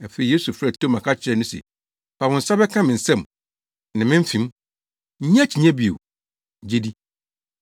Afei Yesu frɛɛ Toma ka kyerɛɛ no se, “Fa wo nsa bɛka me nsam ne me mfem. Nnye akyinnye bio. Gye di!”